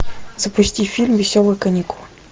запусти фильм веселые каникулы